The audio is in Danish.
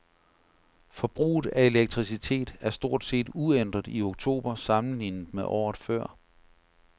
Forbruget af elektricitet var stort set uændret i oktober sammenlignet med året før.